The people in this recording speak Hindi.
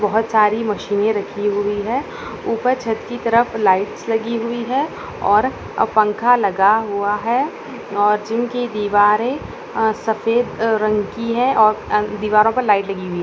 बोहोत सारी मशीने रखी हुई है ऊपर छत कि तरफ लाइटस लगी है और पंखा लगा हुआ है और जिम कि दीवारे अ सफेद रंग की है और अ दीवारों पर लाइट लगी हुई है।